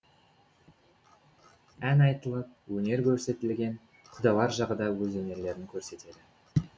ән айтылып өнер көрсетілген құдалар жағы да өз өнерлерін көрсетеді